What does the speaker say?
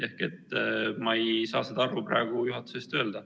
Ehk ma ei saa seda arvu praegu juhatuse eest öelda.